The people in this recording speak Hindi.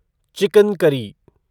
chicken curry